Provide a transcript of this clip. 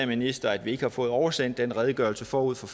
ministeren at vi ikke har fået oversendt den redegørelse forud for